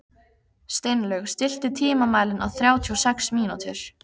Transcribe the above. Steinlaug, stilltu tímamælinn á þrjátíu og sex mínútur.